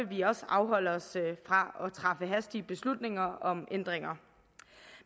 vi også afholde os fra at træffe hastige beslutninger om ændringer